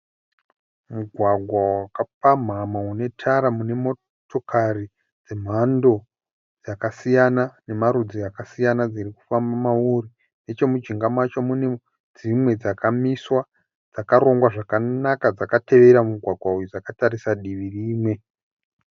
Mugwagwa wakapamhama unetara munemotokari dzemhando dzakasiyana nemarudzi akasiyana dzirikufamba mauri. Nechomujinga macho mune dzimwe dzakamiswa dzakarongwa zvakanaka dzakatevera mugwagwa uyu dzakatarisa divi rimwe.